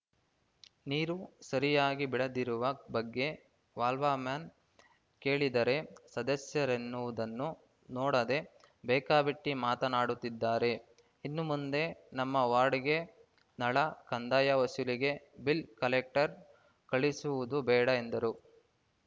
ನೀರು ಸರಿಯಾಗಿ ಬಿಡದಿರುವ ಬಗ್ಗೆ ವಾಲ್ ವಾಮನ್‌ ಕೇಳಿದರೆ ಸದಸ್ಯರೆನ್ನುವುದನ್ನು ನೋಡದೆ ಬೇಕಾಬಿಟ್ಟಿಮಾತನಾಡುತ್ತಿದ್ದಾರೆ ಇನ್ನು ಮುಂದೆ ನಮ್ಮ ವಾರ್ಡ್‌ಗೆ ನಳ ಕಂದಾಯ ವಸೂಲಿಗೆ ಬಿಲ್‌ ಕಲೆಕ್ಟರ್‌ ಕಳಿಸುವುದು ಬೇಡ ಎಂದರು